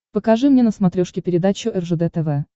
покажи мне на смотрешке передачу ржд тв